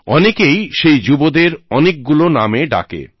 অনেকেই সেই যুবদের অনেকগুলো নামে ডাকে